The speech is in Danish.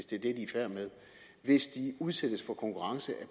det de er i færd med hvis de udsættes for konkurrence